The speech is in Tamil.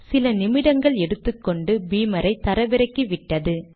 சில நிமிடங்கள் எடுத்துக்கொண்டு பீமரை தரவிறக்கிவிட்டது